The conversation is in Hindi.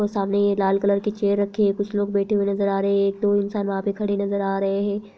वो सामने ये लाल कलर की चेयर रखी है कुछ लोग बैठे हुए नजर आ रहे हैं एक दो इंसान वहाँ पर खड़े नजर आ रहे हैं।